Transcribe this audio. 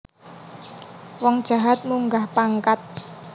Wong jahat munggah pangkat